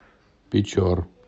печор